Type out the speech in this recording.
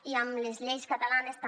i amb les lleis catalanes també